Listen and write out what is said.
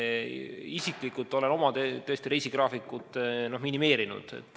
Mina isiklikult olen oma reisigraafikut minimeerinud.